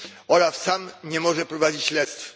OLAF sam nie może prowadzić śledztw.